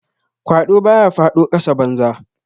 Kwado ba ya fado kasa banza.